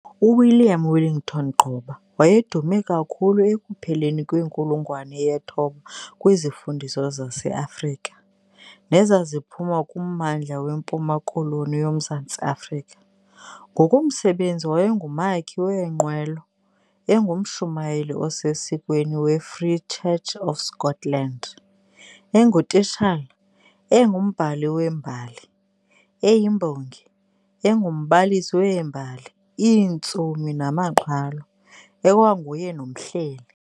UWilliam Wellington Gqoba wayedume kakhulu ekupheleni kwenkulungwane yethoba kwizifundiswa zaseAfrika, nezaziphuma kummandla weMpuma-Koloni yoMzantsi Afrika. Ngokomsebenzi, wayengumakhi weenqwelo, engumshumayeli osesikweni weFree Church of Scotland, engutitshala, engumbhali wembali, eyimbongi, engumbalisi weembali, iintsomi namaqhalo, ekwanguye nomhleli.